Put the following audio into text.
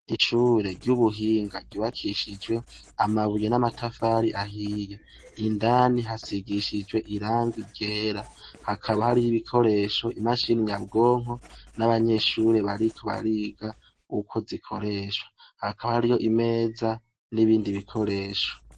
Ishure ry'ubuhinga ryubakishijwe amabuye n'amatafari ahiya indani hasigishijwe iranga rera hakaba hari ho ibikoresho imashini nyabwonko n'abanyeshure bariko bariga uko zikoreshwa hakaba hari ho imeza n'ibindi bikoresho.